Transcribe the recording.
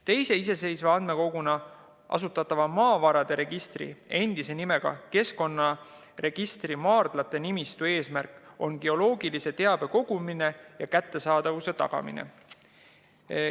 Teise iseseisva andmekoguna asutatava maavarade registri, endise nimega keskkonnaregistri maardlate nimistu eesmärk on geoloogilise teabe kogumine ja selle kättesaadavuse tagamine.